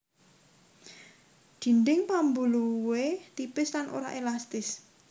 Dinding pambuluhé tipis lan ora élastis